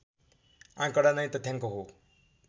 आँकडा नै तथ्याङ्क हो